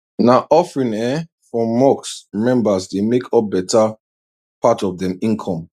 na offering um from mosque members dey make up better part of dem income